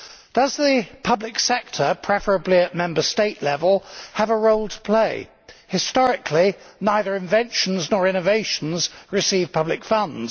Does the public sector, preferably at Member State level, have a role to play? Historically, neither inventions nor innovations receive public funds.